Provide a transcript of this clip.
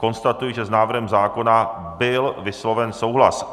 Konstatuji, že s návrhem zákona byl vysloven souhlas.